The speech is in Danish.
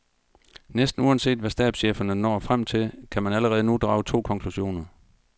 Næsten uanset hvad stabscheferne når frem til, kan man allerede nu drage to konklusioner.